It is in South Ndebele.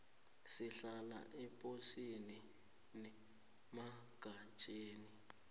simahla eposini nemagatjeni